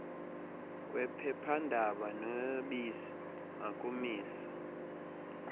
kwephephandaba nobisi makumiswe